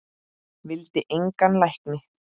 Vildi engan lækni.